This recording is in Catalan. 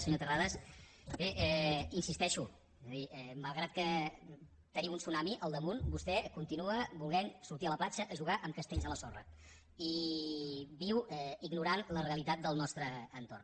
senyor terrades bé insisteixo és a dir malgrat que tenim un tsunami al damunt vostè continua volent sortir a la platja a jugar amb castells a la sorra i viu ignorant la realitat del nostre entorn